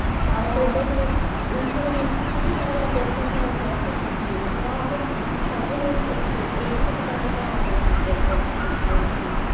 ତା ସହିତ ମାନେ ଏଇ ସବୁ ଜିନିଷ ପାଇଁ ଆମର ଦେଶ ପୁରା ତଳକୁ ଖସିଯାଇଛି ହଁ ଆମେ ଏଇସବୁ କାରଣ ପାଇଁ ଆମ ଦେଶ ପୁରା ତଳକୁ ଖସିଯାଇଛି